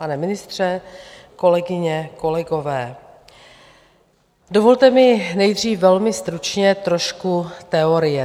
Pane ministře, kolegyně, kolegové, dovolte mi nejdřív velmi stručně trošku teorie.